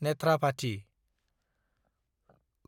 नेथ्राभाथि